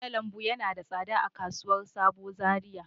Kwai na lambu yana da tsada a kasuwar sabo Zariya.